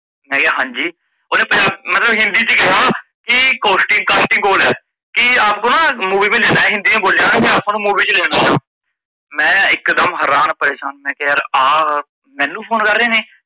ਮੈਕਹਿਆ ਹਾਂਜੀ ਓਹਨੇ ਪਜਾਂ ਮੱਤਲਬ ਹਿੰਦੀ ਚ ਕਿਹਾ ਕੀ costing casting call ਹੈ, ਕੀ ਆਪਕੋਂ ਨਾਂ movie ਮੈ ਲੇਨਾਂ ਹੈ ਹਿੰਦੀ ਚ ਬੋਲਿਆ ਕੀ ਆਪ ਨੂੰ movie ਚ ਲੈਣਾ ਆ ਮੈ ਇੱਕ ਦਮ ਹਰਾਨ ਪਰਿਸ਼ਾਨ ਮੈਕਿਆ ਯਾਰ ਆ ਮੈਂਨੂੰ phone ਕਰ ਰਿਹੇ ਨੇ ਮੈਕਿਆ ਹਾਂਜੀ